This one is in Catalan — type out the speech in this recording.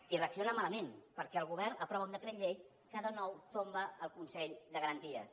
i reacciona malament perquè el govern aprova un decret llei que de nou tomba el consell de garanties